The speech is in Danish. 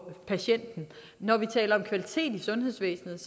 patienten når vi taler om kvalitet i sundhedsvæsenet